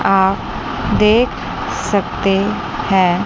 आप देख सकते हैं।